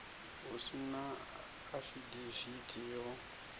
hu si na afidavithi yo